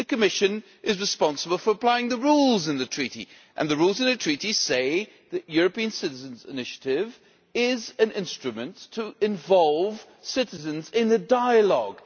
The Commission is responsible for applying the rules in the Treaty, and the rules in the Treaty say that the European Citizens' Initiative is an instrument to involve citizens in dialogue.